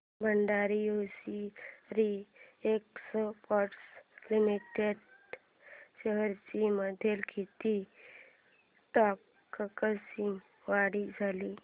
Bhandari hosiery exports limited shares मध्ये किती टक्क्यांची वाढ झाली